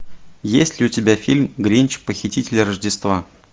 есть ли у тебя фильм гринч похититель рождества